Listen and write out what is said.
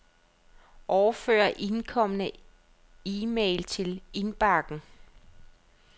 Overfør indkomne e-mail til indbakken.